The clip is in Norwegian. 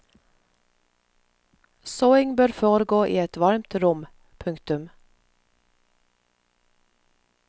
Såing bør foregå i et varmt rom. punktum